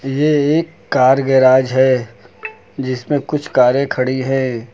ये एक कार एक गैराज है जिसमें कुछ कारे खड़ी है।